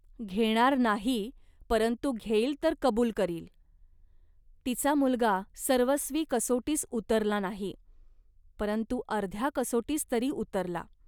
घेणार नाही, परंतु घेईल तर कबूल करील. तिचा मुलगा सर्वस्वी कसोटीस उतरला नाही, परंतु अर्ध्या कसोटीस तरी उतरला